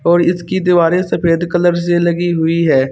और इसकी दीवारें सफेद कलर से लगी हुई है।